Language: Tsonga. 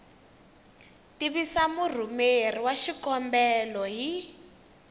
tivisa murhumeri wa xikombelo hi